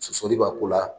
Sosoli b'a ko la